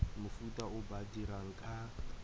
mofuta o ba dirang ka